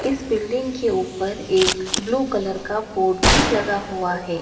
इस बिल्डिंग के ऊपर एक ब्लू कलर का बोर्ड भी लगा हुआ है।